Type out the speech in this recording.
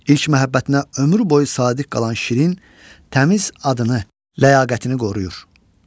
İlk məhəbbətinə ömrü boyu sadiq qalan şirin təmz adını, ləyaqətini qoruyur.